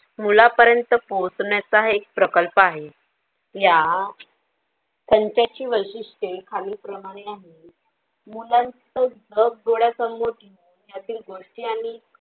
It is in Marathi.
मुळापर्यंत पोचण्याचे हे एक प्रकल्प आहे या संत तेची वैशिष्टी अनेक प्रमाणे मुलांच्या गोष्टी आणि.